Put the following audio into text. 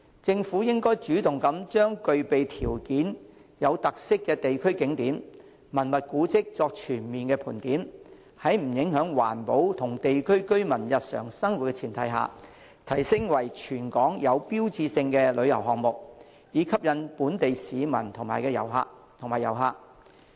政府應主動把具備條件而且有特色的地區景點和文物古蹟作全面盤點，在不影響環保及地區居民日常生活的前提下，提升為全港具標誌性的旅遊項目，以吸引本地市民及遊客。